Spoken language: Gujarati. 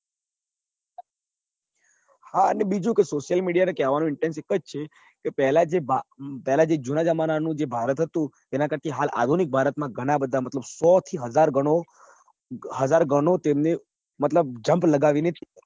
હા બીજું કે social media ને કેવા નો intense એક જ છે કે પેલા જે ભારત પેલા જે જુના જમાના નું ભારત હતું એના કરતા હાલ આધુનિક ભારત માં ઘણાં બધા મતલબ સો કે હાજર ઘણો હાજર ઘણો તેમને મતલબ junk લગાવી ને